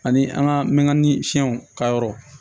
Ani an ka mɛnkanni siyɛnw ka yɔrɔ